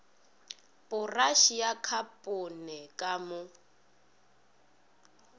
poraše ya khapone ka mo